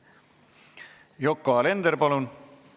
Yoko Alender, palun!